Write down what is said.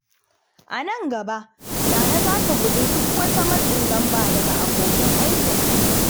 A nan gaba, Nana za ta guji duk wata matsin lamba daga abokan aikinta.